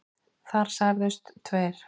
Þar særðust tveir